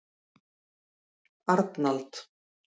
Arnald